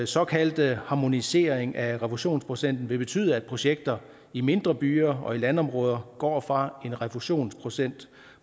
såkaldte harmonisering af refusionsprocenten vil betyde at projekter i mindre byer og landområder går fra en refusionsprocent